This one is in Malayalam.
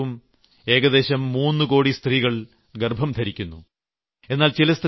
ഇവിടെ ഓരോ വർഷവും ഏകദേശം 3 കോടി സ്ത്രീകൾ ഗർഭം ധരിക്കുന്നു